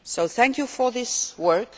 Thank you for this work.